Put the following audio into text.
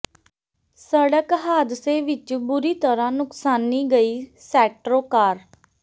ਸੜਕ ਹਾਦਸੇ ਵਿੱਚ ਬੁਰੀ ਤਰਾਂ ਨੁਕਸਾਨੀ ਗਈ ਸੈਟਰੋ ਕਾਰ